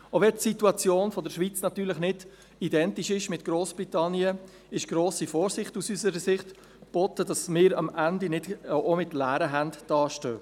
Auch wenn die Situation der Schweiz natürlich nicht identisch ist mit jener Grossbritanniens, ist aus unserer Sicht grosse Vorsicht geboten, damit wir am Ende nicht auch mit leeren Händen dastehen.